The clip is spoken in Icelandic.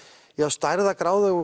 stærðargráðu og